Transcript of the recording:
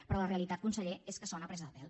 però la realitat conseller és que sona a presa de pèl